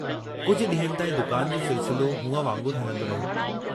कुझ डींहंनि ताईं दुकान जो सिलसिलो हूंअ वांगुरु हलंदो रहियो।